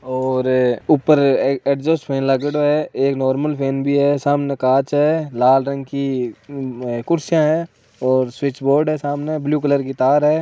और ऊपर एक एग्जॉस्ट फैन लागेड़ो है एक नार्मल फैन भी है सामने कांच ए लाल रंग की कुर्सियां है और स्विच बोर्ड है सामने ब्लू कलर की तार है।